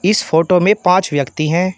इस फोटो में पांच व्यक्ति हैं।